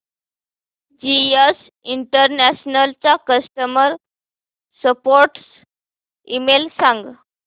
GS International चा customer support email सांग